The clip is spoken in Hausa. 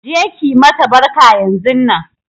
Je ki mata barka yanzunnan!